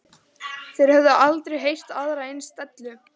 Þeir höfðu aldrei heyrt aðra eins dellu.